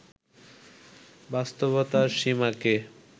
বাস্তবতার সীমাকে